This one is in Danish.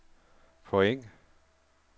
point